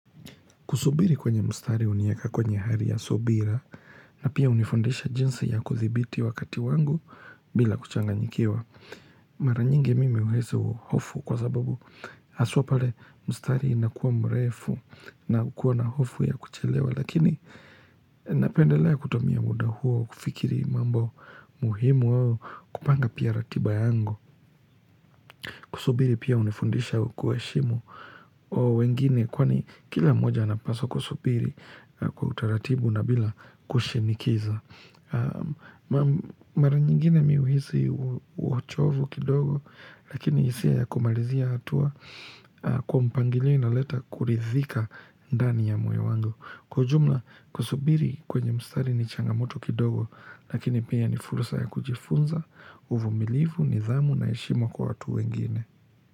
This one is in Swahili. Kusubiri kwenye mstari hunieka kwenye hali ya subira na pia hunifundisha jinsi ya kuthibiti wakati wangu bila kuchanganyikiwa. Mara nyingi mimi uhisi hofu kwa sababu haswa pale mstari inakuwa mrefu na kuwa na hofu ya kuchelewa. Lakini napendelea kutumia muda huo kufikiri mambo muhimu wao kupanga pia ratiba yangu. Kusubiri pia hunifundisha kuheshimu wengine kwani kila moja anapasa kusubiri kwa utaratibu na bila kushinikiza Mara nyingine mi huhisi huo uchovu kidogo lakini hisia ya kumalizia atua kwa mpangilio inaoleta kuridhika ndani ya moyo wangu Kwa ujumla, kusubiri kwenye mstari ni changamoto kidogo Lakini pia ni fursa ya kujifunza, uvumilivu, nidhamu na heshima kwa watu wengine.